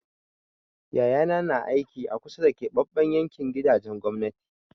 Yayana na aiki a kusa da keɓaɓɓen yankin gidajen gwamnati.